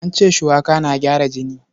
An ce shuwaka na gyara jini.